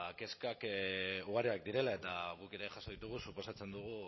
kezkak ugariak direla eta guk ere jaso ditugu suposatzen dugu